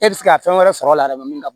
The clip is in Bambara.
E bɛ se ka fɛn wɛrɛ sɔrɔ a la min ka bon